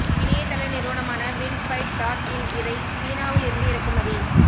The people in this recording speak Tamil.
இணைய தள நிறுவனமான விண்ட்பைட் டாட் இன் இதை சீனாவில் இருந்து இறக்குமதி